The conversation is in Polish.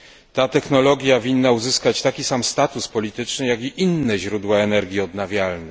Ta technologia winna uzyskać taki sam status polityczny jak i inne źródła energii odnawialnej.